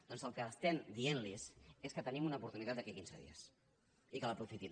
doncs el que estem dient los és que tenim una oportunitat d’aquí a quinze dies i que l’aprofitin